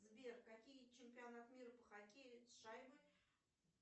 сбер какие чемпионат мира по хоккею с шайбой